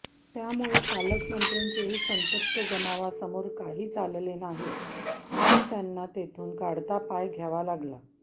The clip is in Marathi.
त्यामुळे पालकमंत्र्यांचेही संतप्त जमावासमोर काही चालले नाही आणि त्यांना तेथून काढता पाय घ्यावा लागला